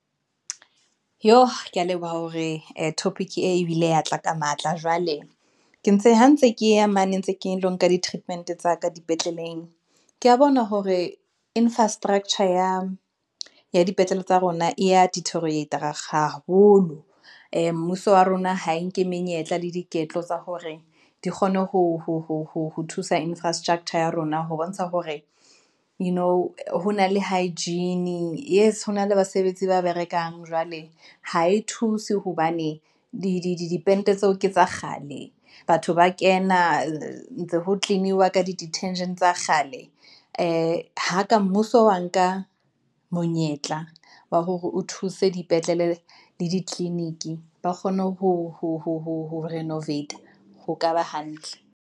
Jo kea leboha hore topic ebile ya tla ka matla, jwale ha ntse ke ya mane ntse ke lo nka di-treatment tsa ka dipetleleng ke a bona. Hore infrastructure ya dipetlele tsa rona e ya diteriorate-a haholo, mmuso wa rona ha e nke menyetla le boiketlo tsa hore di kgone ho thusa infrastructure ya rona ho bontsha hore, you know ho na le hygiene. Yes, hona le basebetsi ba berekang jwale ha e thuse hobane di pente tseo ke tsa kgale. Batho ba kena, ntse ho clean-iwa ka di-detergent tsa kgale ha ka Mmuso wa nka monyetla wa hore o thuse dipetlele le diclinic, ba kgone ho renovate are ho ka ba hantle.